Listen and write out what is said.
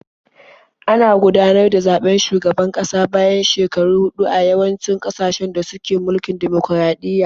Ana gudanar da zaɓen shugaban kasa bayan shekaru huɗu a yawancin ƙasashen da suke mulkin dimokuraɗiyya.